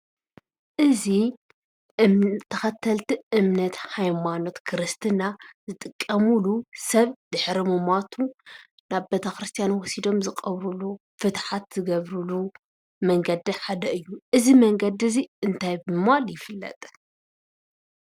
እዚ ተኸተልቲ እምነት ሃይማኖት ክርስትና ዝጥቀምሉ ሰብ ድሕሪ ምሟቱ ናብ ቤተ ክርስትያን ወሲዶም ዝቐብሩሉ፣ ፍትሓት ዝገብሩሉ መንገዲ ሓደ እዩ፡፡ እዚ መንገዲ እዚ እንታይ ብምባል ይፍለጥ?